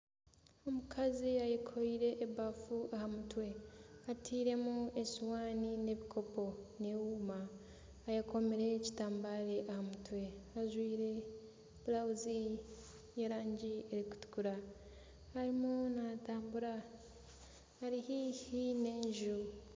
Omukazi ayekooreire ebafa aha mutwe, atairemu esiwaani n'ebikopo n'ehuuma, eyekomire ekitambare aha mutwe ajwire burawuzi y'erangi erikutukura arimu naatambura ari haihi n'enju